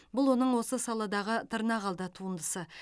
бұл оның осы саладағы тырнақалды туындысы